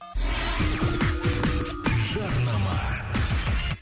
жарнама